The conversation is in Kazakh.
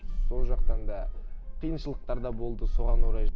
сол жақтан да қиыншылықтар да болды соған орай